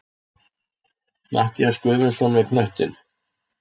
Matthías Guðmundsson með knöttinn.